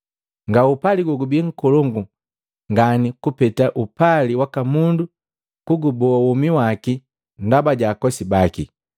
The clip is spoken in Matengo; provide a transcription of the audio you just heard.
Nga upali gogubi nkolongu ngani kupeta upali waka mundu kuguboa womi waki ndaba jaakosi baki.